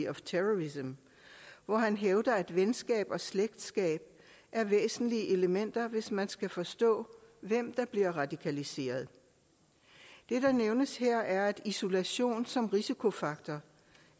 of terrorism hvor han hævder at venskab og slægtskab er væsentlige elementer hvis man skal forstå hvem der bliver radikaliseret det der nævnes her er at isolation som en risikofaktor